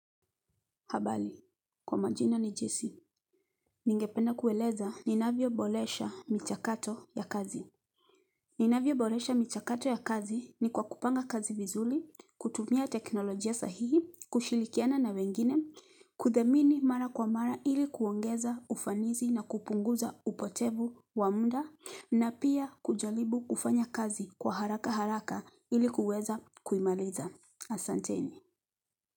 Habari, kwa majina ni jessy, ningependa kueleza ninavyoboresha michakato ya kazi. Ninavyo boresha michakato ya kazi ni kwa kupanga kazi vizuri, kutumia teknolojia sahihi, kushirikiana na wengine, kuthamini mara kwa mara ili kuongeza ufanisi na kupunguza upotevu wa muda, na pia kujaribu kufanya kazi kwa haraka haraka ili kuweza kuimaliza. Asanteni.